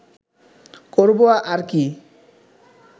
করব আর কি